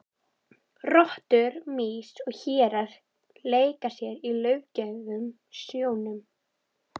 Rottur, mýs og hérar leika sér í laufgrænum snjónum.